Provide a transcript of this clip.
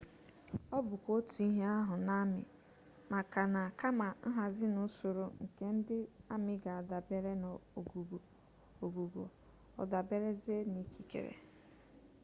ọ bụkwa otu ihe ahụ n'amị maka na kama nhazi n'usoro nke ndị amị ga-adabere n'ogugo ọ daberezie n'ikikere